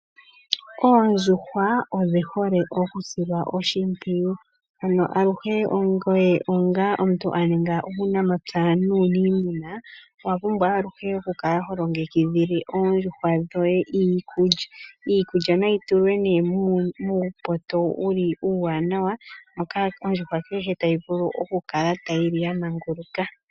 Oondjuhwa odhi hole oku silwa oshimpwiyu. Ano aluhe nyoye onga omuntu a ninga uunamapya nuuniimuna, owa pumbwa aluhe oku kala ho longekidhile oondjuhwa dhoye iikulya. Iikulya nayi tulwe nee muupoto wuli uuwaanawa, moka ondjuhwa kehe tayi vulu oku kala tayi li ya manguluka.